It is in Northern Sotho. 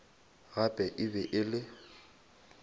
gape e be e le